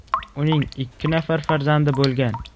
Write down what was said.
Uning ikki nafar farzandi bo‘lgan.